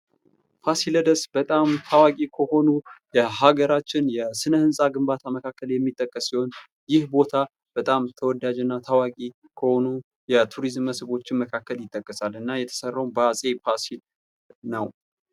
ፋሲለደስ በጣም ታዋቂ ከሆኑ የሃገራችን የሥነ ሕንፃ ግንባታ መካከል የሚጠቀስ ሲሆን ፤ ይህ ቦታ በጣም ተወዳጅና ታዋቂ ከሆኑ የቱሪዝም መስህቦች መካከል ይጠቀሳል ። እና የተሰራው በዐፄ ፋሲል ነው።